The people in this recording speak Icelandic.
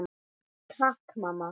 Takk mamma!